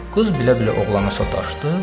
Qız bilə-bilə oğlana sataşdı.